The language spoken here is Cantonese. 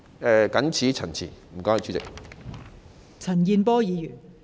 我謹此陳辭，多謝代理主席。